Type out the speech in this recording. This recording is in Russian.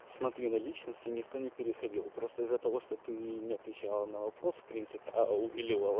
смотри на личности никто не переходил просто из-за того что ты не отвечала на вопрос в принципе а увиливала